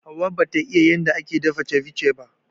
Hauwa bata iƴa yanda ake dafa ceviche ba.